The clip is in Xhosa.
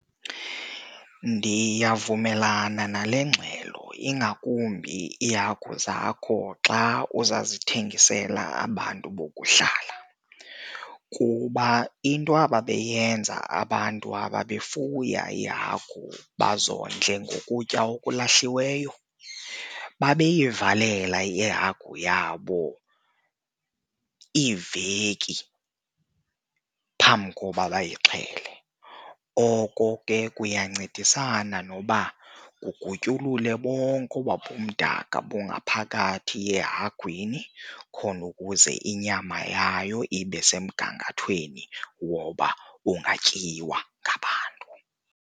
Ndiyavumelana nale ngxelo ingakumbi iihagu zakho xa uza zithengisela abantu bokuhlala. iuba into ababeyenza abantu abebefuya iihagu bazondle ngokutya okulahliweyo, babeyivalela ihagu yabo iveki phambi koba bayixhele. Oko ke kuyancedisana noba kugutyulule bonke oba bumdaka bungaphakathi ehagwini khona ukuze inyama yayo ibe semgangathweni woba ungatyiwa ngabantu.